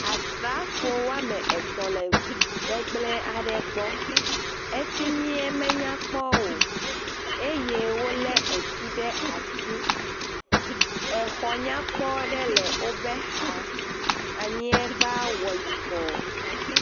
asrafo wɔamɛtɔ̃ lɛ ʋu gbɛgblɛ̃ aɖe gbɔ ɛfimie me nyakpɔ o wóle etu ɖasi, exɔ nyakpɔ ɖe le wobe xa anyiegba wɔ yibɔ